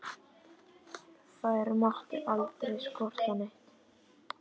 Þær mátti aldrei skorta neitt.